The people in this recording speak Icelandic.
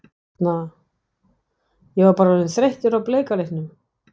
Ég hérna. ég var bara orðinn þreyttur á bleika litnum.